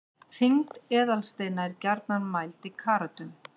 þyngd eðalsteina er gjarnan mæld í karötum